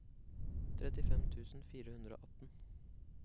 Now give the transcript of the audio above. trettifem tusen fire hundre og atten